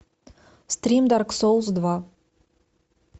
стрим дарк соулс два